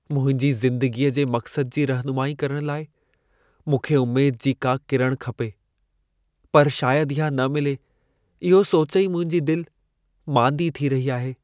मुंहिंजी ज़िंदगीअ जे मक़सद जी रहनुमाई करण लाइ मूंखे उमेद जी का किरण खपे, पर शायद इहा न मिले इहो सोचे ई मुंहिंजी दिलि मांदी थी रही आहे।